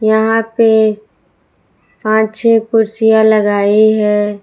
यहां पे पांच छह कुर्सियां लगाई है।